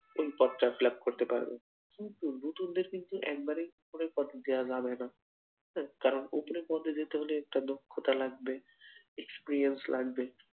ওই পদটা fill up করতে পারবে, কিন্তু নতুনদের কিন্তু একবারেই ওপরের পদে দেওয়া যাবেনা কারণ ওপরের পদে যেতে হলে একটা দক্ষতা লাগবে experience লাগবে